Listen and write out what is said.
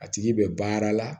A tigi bɛ baara la